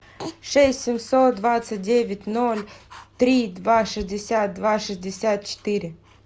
шесть семьсот двадцать девять ноль три два шестьдесят два шестьдесят четыре